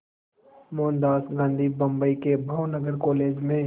मोहनदास गांधी बम्बई के भावनगर कॉलेज में